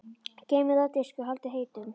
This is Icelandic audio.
Geymið þau á diski og haldið heitum.